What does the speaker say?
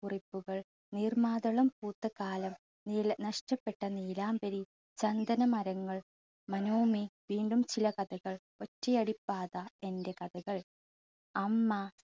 കുറിപ്പുകൾ, നീർമാതളം പൂത്ത കാലം, നീല നഷ്ടപ്പെട്ട നീലാംബരി, ചന്ദന മരങ്ങൾ, മനോമി, വീണ്ടും ചില കഥകൾ, ഒറ്റയടിപ്പാത, എൻറെ കഥകൾ, അമ്മ